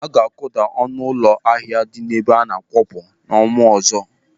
Aga akuda ọnụ ụlọ ahịa dị n'ebe ana-akwọpụ n'ọnwa ọzọ.